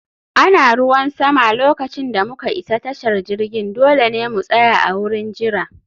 Ana ruwan sama lokacin da muka isa tashar jirgin, dole ne mu tsaya a wurin jira